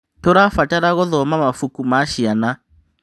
Tũrabatara gũthoma mabuku ma ciana.